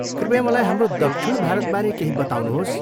कृपया मलाई हाम्रो दक्षिण भारतबारे केही बताउनुहोस्।